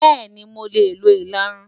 Bẹ́ẹ̀ni, mo lè lo ìlarun.